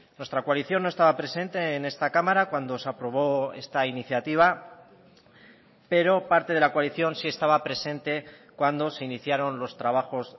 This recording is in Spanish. nuestra coalición no estaba presente en esta cámara cuando se aprobó esta iniciativa pero parte de la coalición sí estaba presente cuando se iniciaron los trabajos